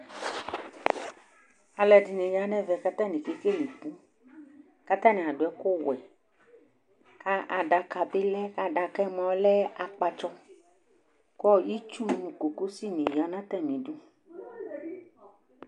Alɛɖɩnɩ ya nɛmɛ katanɩ kekele ɩku Katanɩ aɖu ɛku ɔwɛ, kaɖaka bɩ lɛ, kaɖakɛ mɔ lɛ akpatsɔ, ku itsu mu gogosɩ ni ya natamiɖu